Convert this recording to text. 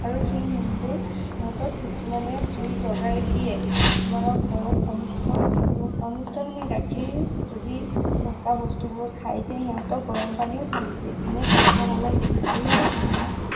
আৰু সেই নোমবোৰ সিহতক কিছুমানে জুই লগাই দিয়ে। কিছুমানৰ ঘৰত অনিষ্ট, অনিষ্ট মানে গাখীৰ যদি ধকা বস্তুবোৰক খায় তেতিয়া সিহতক গৰম পানীও ঢালি দিয়ে।